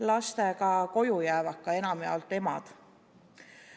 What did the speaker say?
Lastega koju jäävad ka enamjaolt emad.